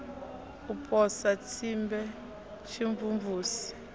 u posa ya tsimbe tshimvumvusi